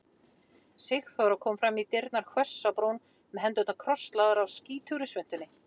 Sigþóra kom fram í dyrnar hvöss á brún með hendurnar krosslagðar á skítugri svuntunni.